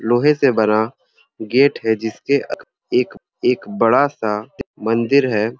लोहे से बना गेट है जिस पर एक बड़ा सा बन्दर हे।